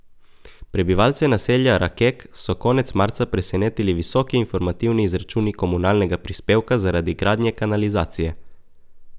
Prebivalce naselja Rakek so konec marca presenetili visoki informativni izračuni komunalnega prispevka zaradi gradnje kanalizacije.